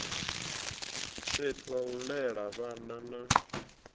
fhethu hau lela vhana na